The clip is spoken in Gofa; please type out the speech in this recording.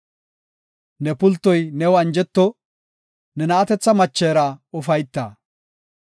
Ne pultoy new anjeto; ne na7atetha machera ufayta.